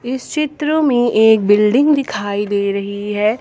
इस चित्र में एक बिल्डिंग दिखाई दे रही है।